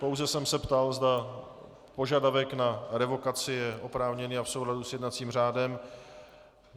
Pouze jsem se ptal, zda požadavek na revokaci je oprávněný a v souladu s jednacím řádem.